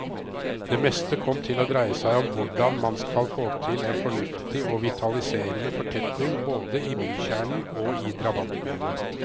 Det meste kom til å dreie seg om hvordan man skal få til en fornuftig og vitaliserende fortetning både i bykjernen og i drabantbyene.